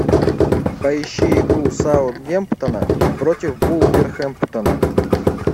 поищи игру саутгемптона против вулверхэмптона